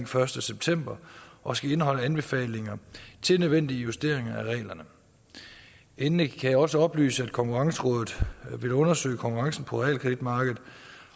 første september og skal indeholde anbefalinger til nødvendige justeringer af reglerne endelig kan jeg også oplyse at konkursrådet vil undersøge konkurrencen på realkreditmarkedet